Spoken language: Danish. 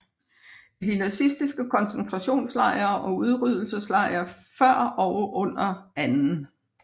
I de nazistiske konzentrationslejre og udryddelseslejre før og under 2